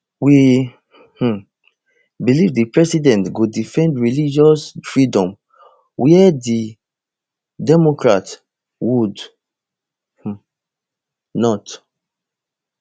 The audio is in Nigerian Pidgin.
we um believe di president go defend religious freedom where di democrats would um not